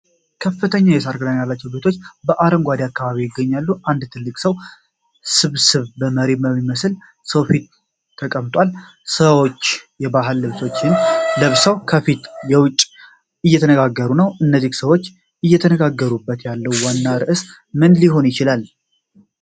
ከፍተኛ የሳር ክዳን ያላቸው ቤቶች በአረንጓዴ አካባቢ ይገኛሉ። አንድ ትልቅ የሰዎች ስብስብ ከመሪ የሚመስል ሰው ፊት ተቀምጧል። ሰዎች የባህል ልብሶችን ለብሰው ከቤት ውጭ እየተነጋገሩ ነው። እነዚህ ሰዎች እየተነጋገሩበት ያለው ዋና ርዕስ ምን ሊሆን ይችላል?